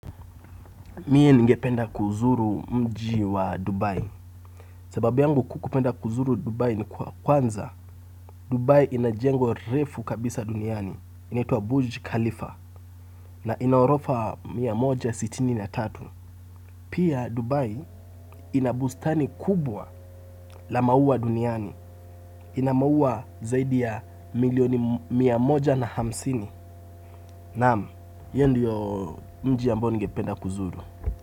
Mie ningependa kuzuru mji wa Dubai sababu yangu kupenda kuzuru dubai ni kwanza Dubai ina jengo refu kabisa duniani inaitwa buji Khalifa na ina orofa mia moja sitini na tatu. Pia Dubai ina bustani kubwa la maua duniani ina maua zaidi ya milioni mia moja na hamsini. Nam, hiyo ndio mji ambao ningependa kuzuru.